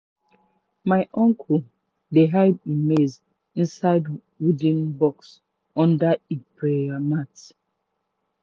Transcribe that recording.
my uncle dey hide e maize seed inside wooden box under e prayer mat.